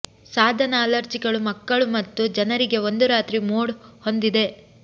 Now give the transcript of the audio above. ಸಾಧನ ಅಲರ್ಜಿಗಳು ಮಕ್ಕಳು ಮತ್ತು ಜನರಿಗೆ ಒಂದು ರಾತ್ರಿ ಮೋಡ್ ಹೊಂದಿದೆ